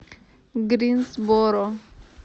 гринсборо